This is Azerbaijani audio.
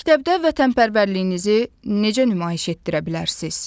Məktəbdə vətənpərvərliyinizi necə nümayiş etdirə bilərsiniz?